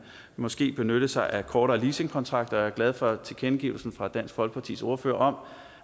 måske benytte sig af kortere leasingkontrakter jeg er glad for tilkendegivelsen fra dansk folkepartis ordfører om